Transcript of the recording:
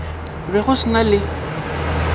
be go se na le